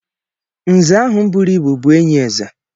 Nze ahụ bụrụ ịbụ bụ enyi eze.